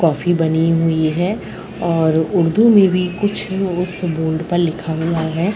Coffee बनी हुई है और उर्दू में भी कुछ उस बोर्ड पर लिखा हुआ है।